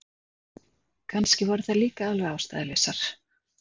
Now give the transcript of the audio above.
Kannski voru þær líka alveg ástæðulausar.